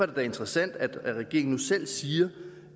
da interessant at regeringen nu selv siger